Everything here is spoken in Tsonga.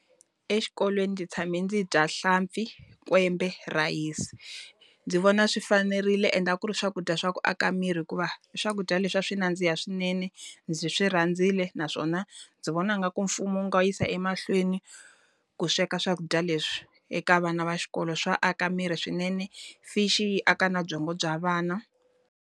Exikolweni ndzi tshame ndzi bya hlampfi, kwembe, rhayisi. Ndzi vona swi fanerile ende a ku ri swakudya swa ku aka miri hikuva, i swakudya leswi a swi nandziha swinene. Ndzi swi rhandzile naswona, ndzi vona ingaku mfumo wu nga yisa emahlweni ku sweka swakudya leswi. Eka vana va xikolo swa aka miri swinene, fish yi aka na byongo bya vana.